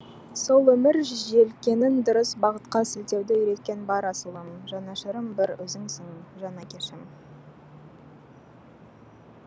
сол өмір желкенін дұрыс бағытқа сілтеуді үйреткен бар асылым жанашырым бір өзіңсің жан әкешім